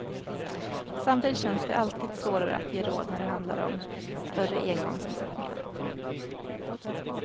Samtidigt känns det alltid svårare att ge råd när det handlar om större engångsinsättningar.